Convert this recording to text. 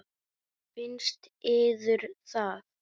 Finnst yður það?